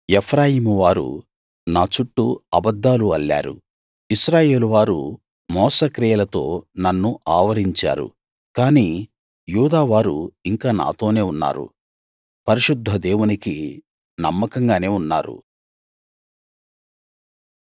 ఎఫ్రాయిము వారు నా చుట్టూ అబద్ధాలు అల్లారు ఇశ్రాయేలు వారు మోసక్రియలతో నన్ను ఆవరించారు కానీ యూదా వారు ఇంకా నాతోనే ఉన్నారు పరిశుద్ధ దేవునికి నమ్మకంగానే ఉన్నారు